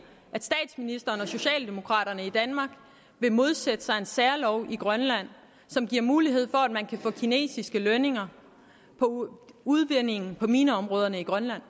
at hun og socialdemokraterne i danmark ville modsætte sig en særlov i grønland som giver mulighed for at man kan få kinesiske lønninger på udvindingen i mineområderne i grønland